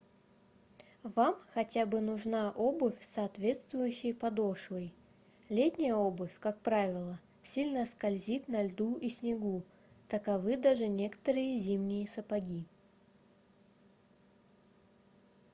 вам хотя бы нужна обувь с соответствующей подошвой летняя обувь как правило сильно скользит на льду и снегу таковы даже некоторые зимние сапоги